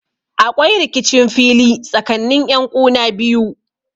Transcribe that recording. Aƙwai rikicin fili tsakanni yanƙuna biyu.